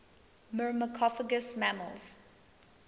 myrmecophagous mammals